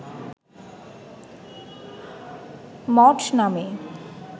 মঠ নামে